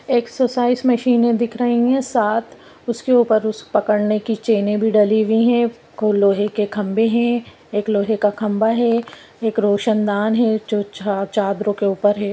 एक सुसाइस मशीन दिख रही है साथ उसे पकड़ने की चैन भी डली हुई है लोहे के खंभे है एक रोशन दार है च च चादरों के उपर है।